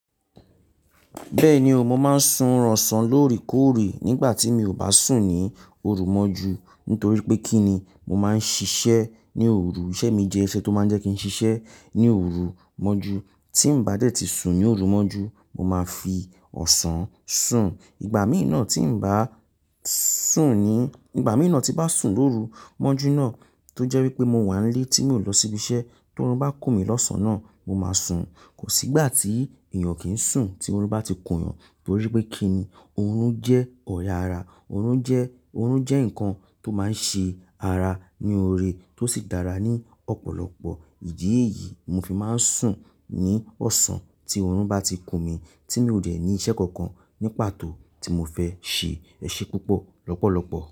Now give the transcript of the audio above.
Bẹ́ẹ̀ni o, mo máa ń sunran ọ̀sán lóre kòrìí. Nígbà tí mi ò bá sùn ní òrò mọ́jú nítorí pé kí ni mo máa ń ṣiṣẹ́ ní òrò. Ìṣe mi jẹ́ iṣẹ́ tó máa ń jẹ́ kí n ṣiṣẹ́ ní òrò mọ́jú. Tí mo bá dẹ̀ ti sùn ní òrò mọ́jú, mo máa fi ọ̀sán sùn. Ìgbà mìíràn tí ń bá sùn ní, ìgbà mìíràn tí bá sùn lóru mọ́jú náà tó jẹ́ wípé mo wà nílé tí mi ò lọ síbi iṣẹ́, tí orun bá kú mi lọ́sàn-án náà, mo máa sùn. Kò sí ìgbà tí èèyàn kì í sùn tí orun bá ti kù yàn nítorí pé kí ni orun jẹ́ ọ̀yà ara. Orun jẹ́, orun jẹ́ nǹkan tó máa ń ṣe ara ní oore tó sì dára ní ọ̀pọ̀lọpọ̀ ìdí èyí, mo fi máa ń sùn ní ọ̀sán tí orun bá ti kú mi tí mi ò rẹ̀ ní iṣẹ́ kankan ní pàtó tí mo fẹ́ ṣe ẹṣẹ púpọ̀ lọ́pọ̀lọpọ̀.